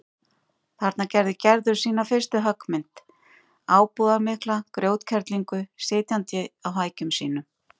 Þarna gerði Gerður sína fyrstu höggmynd, ábúðarmikla grjótkerlingu sitjandi á hækjum sínum.